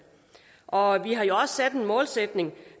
og vi har jo også sat en målsætning